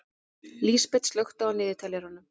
Lísabet, slökktu á niðurteljaranum.